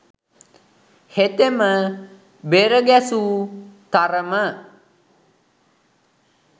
හෙතෙම බෙරගැසූ තරම